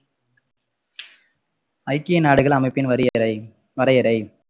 ஐக்கிய நாடுகள் அமைப்பின் வரியறை~ வரையறை